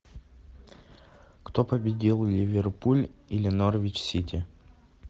кто победил ливерпуль или норвич сити